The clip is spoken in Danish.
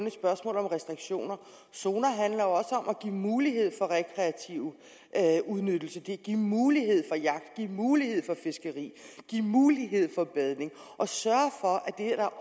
et spørgsmål om restriktioner zoner handler også om at give mulighed for rekreativ udnyttelse at give mulighed for jagt at give mulighed for fiskeri at give mulighed for badning og sørge for at det er